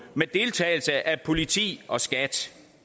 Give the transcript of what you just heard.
med deltagelse af politi og skat